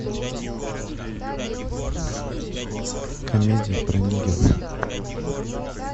комедии про нигеров